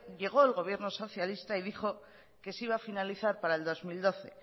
llegó el gobierno socialista y dijo que se iba a finalizar para el dos mil doce